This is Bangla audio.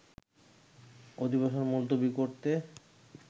অধিবেশন মুলতবি করেতে